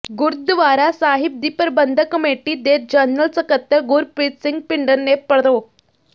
ਗੁਰਦੁਆਰਾ ਸਾਹਿਬ ਦੀ ਪ੍ਰਬੰਧਕ ਕਮੇਟੀ ਦੇ ਜਨਰਲ ਸਕੱਤਰ ਗੁਰਪ੍ਰਰੀਤ ਸਿੰਘ ਭਿੰਡਰ ਨੇ ਪ੍ਰਰੋ